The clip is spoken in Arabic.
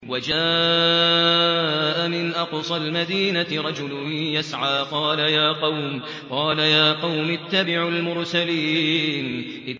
وَجَاءَ مِنْ أَقْصَى الْمَدِينَةِ رَجُلٌ يَسْعَىٰ قَالَ يَا قَوْمِ اتَّبِعُوا الْمُرْسَلِينَ